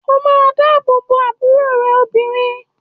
O máa dábòbo àbúrò rẹ obìnrin.!